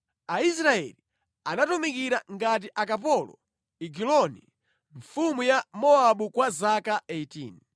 Aisraeli anatumikira ngati akapolo Egiloni mfumu ya Mowabu kwa zaka 18.